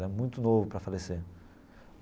É muito novo para falecer.